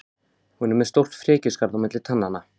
Hún er með stórt frekjuskarð á milli tannanna.